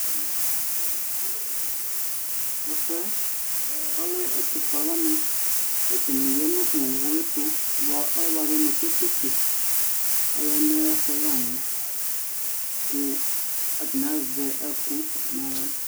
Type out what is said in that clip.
Tɛfʋɛ, ɔlɛ ɛtʋ fue alʋ wanɩ ; katanɩ ya nʋ owuɛtʋ, bʋa abazɔ nʋ keteke ,aya nayɛfʋɛ layɛ kʋ atanɩ azɛ ɛkʋ naɣla